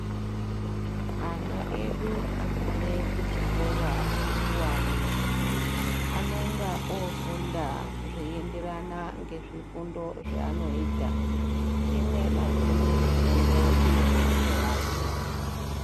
Ana edu agume kuzvikora zvikuwane anonga ofunda zveienderana ngezvifundo zvaanoita chimwe nachimwe chifundo chine mhatso yacho.